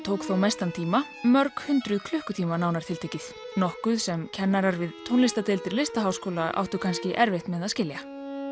tók þó mestan tíma mörg hundruð klukkutíma nánar tiltekið nokkuð sem kennarar við tónlistardeild listaháskóla áttu kannski erfitt með að skilja